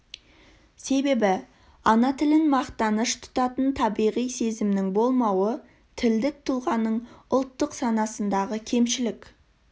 себебі ана тілін мақтаныш тұтатын табиғи сезімнің болмауы тілдік тұлғаның ұлттық санасындағы кемшілік